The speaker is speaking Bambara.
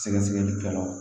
Sɛgɛsɛgɛli kɛlaw